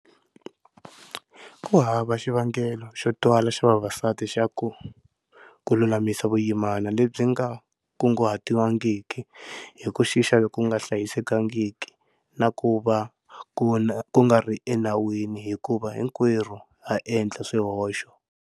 Ku hava xivangelo xo twala xa vavasati ku lulamisa vuyimana lebyi nga kunguhatiwangiki hi ku xixa loku nga hlayisekangiki na ku va ku nga ri enawini hikuva hinkwerhu ha endla swihoxo.